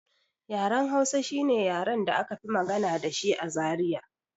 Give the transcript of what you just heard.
Yaren Hausa shine yaren da aka fi magana dashi a Zaria